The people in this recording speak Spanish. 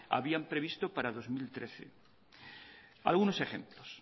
habían previsto para el dos mil trece algunos ejemplos